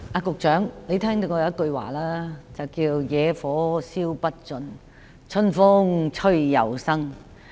局長，你也聽過一句話："野火燒不盡，春風吹又生"。